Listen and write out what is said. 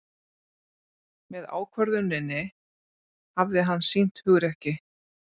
Með ákvörðuninni hafi hann sýnt hugrekki